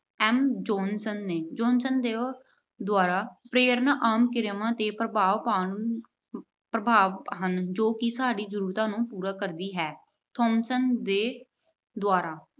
M Johnson ਨੇ Johnson ਦੇ ਦੁਆਰਾ ਪ੍ਰੇਰਨਾ ਆਮ ਕਿਰਿਆਵਾਂ ਤੇ ਪ੍ਰਭਾਵ ਪਾਉਣ ਅਹ ਪ੍ਰਭਾਵ ਹਨ ਜੋ ਕਿ ਸਾਡੀ ਜਰੂਰਤਾਂ ਨੂੰ ਪੂਰੀ ਕਰਦੀ ਹੈ। Thomsan ਦੇ ਦੁਆਰਾ